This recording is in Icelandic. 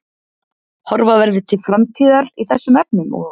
Horfa verði til framtíðar í þessum efnum og?